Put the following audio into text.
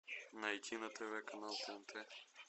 найти на тв канал тнт